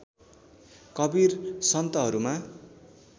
Kabir सन्तहरूमा